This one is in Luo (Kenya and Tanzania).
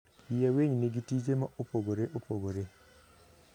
Yie winy nigi tije mopogore opogore.